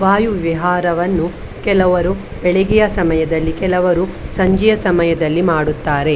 ವಾಯು ವಿಹಾರವನ್ನು ಕೆಲವರು ಬೆಳಿಗೆಯ ಸಮಯದಲ್ಲಿ ಕೆಲವರು ಸಂಜೆಯ ಸಮಯದಲ್ಲಿ ಮಾಡುತ್ತಾರೆ .